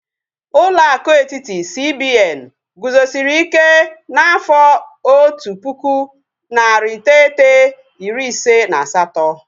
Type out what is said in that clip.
Ụlọ akụ etiti, CBN guzosiri ike n'afọ otu pụkụ, narị iteghete, iri ise na asatọ